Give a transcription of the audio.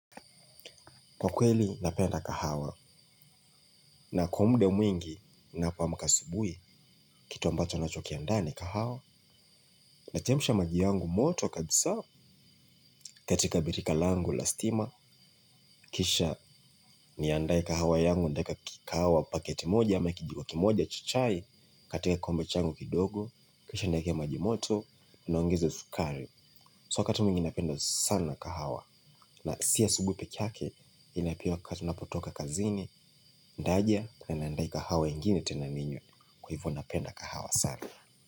Kwa kweli napenda kahawa na kwa muda mwingi napoamuka asubui kitu ambacho nacho kiandaa ni kahawa nachemsha maji yangu moto kabisa katika birika langu la stima kisha niandae kahawa yangu ndaeka kahawa paketi moja ama kijiko kimoja cha chai katika kombe changu kidogo kisha nieke majimoto niongezo sukari So wakati mingi napenda sana kahawa na si asubui peke yake ila pia wakati napotoka kazini, ndaja na niandae kahawa ingine tena ninywe kwa hivo napenda kahawa sana.